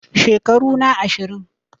Shekaru na ashirin